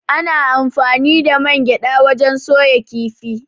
Ana anfani da man gyaɗa wajen soya kifi.